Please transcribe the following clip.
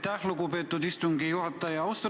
Aitäh, lugupeetud istungi juhataja!